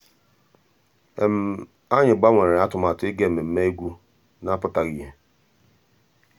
ànyị́ gbànwèré àtụ̀màtụ́ ìgá mmèmè égwu ná-àpụ́tághị́ ìhè.